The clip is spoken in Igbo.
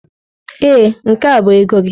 Ee, nke a bụ ego gị.